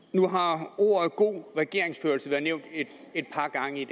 nu har ordene god regeringsførelse været nævnt et par gange i